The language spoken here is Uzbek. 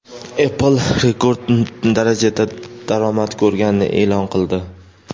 Apple rekord darajada daromad ko‘rganini e’lon qildi.